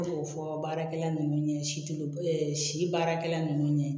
Ne b'o fɔ baarakɛla nunnu ye silobɛ ɛ si baarakɛla nunnu ye